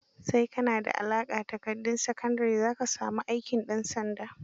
Sai ka na da aƙalla takardar sakandire za ka sami aikin ɗansanda.